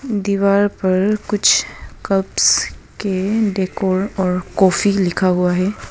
दीवार पर कुछ कप के डेकोर और कॉफी लिखा हुआ हैं।